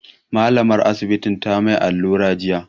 Mallamar Asibitin ta mai allura jiya.